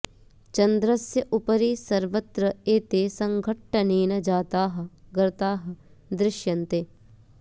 चन्द्रस्य उपरि सर्वत्र एते सङ्घट्टनेन जाताः गर्ताः दृशन्ते